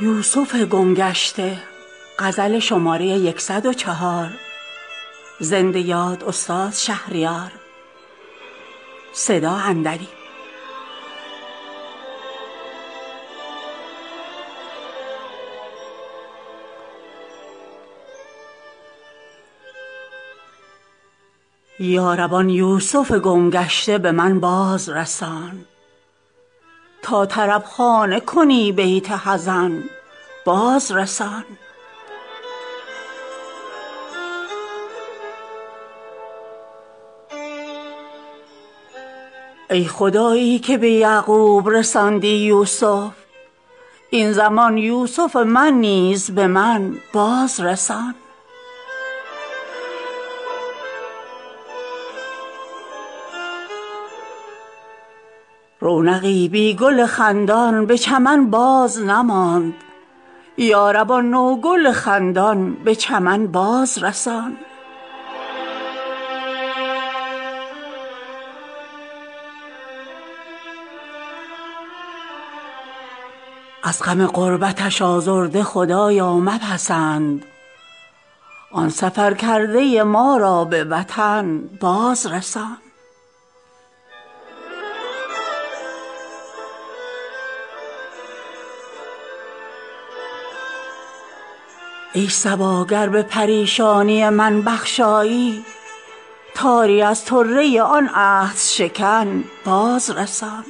یا رب آن یوسف گم گشته به من بازرسان تا طربخانه کنی بیت حزن بازرسان ای خدایی که به یعقوب رساندی یوسف این زمان یوسف من نیز به من بازرسان یارب آن نغمه سرا بلبل خوش الحان را تا بیاسایم از این زاغ و زغن بازرسان آن غزال ختنی خط به خطا شد یارب به خطا رفته ما را به ختن بازرسان رونقی بی گل خندان به چمن بازنماند یارب آن نوگل خندان به چمن بازرسان از غم غربتش آزرده خدایا مپسند آن سفرکرده ما را به وطن بازرسان ای صبا گر به پریشانی من بخشایی تاری از طره آن عهدشکن بازرسان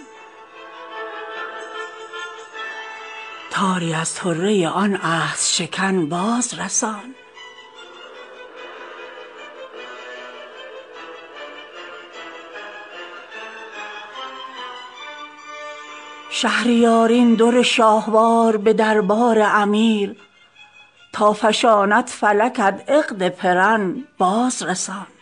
شهریار این در شهوار به در بار امیر تا فشاند فلکت عقد پرن بازرسان